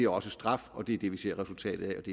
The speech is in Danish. også straf og det er det vi ser resultatet